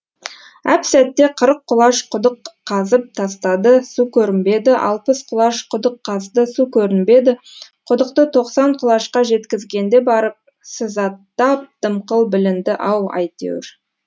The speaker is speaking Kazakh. әп сәтте қырық құлаш құдық қазып тастады су көрінбеді алпыс құлаш құдық қазды су көрінбеді құдықты тоқсан құлашқа жеткізгенде барып сызаттап дымқыл білінді ау әйтеуір